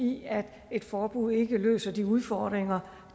i at et forbud ikke løser de udfordringer